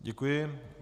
Děkuji.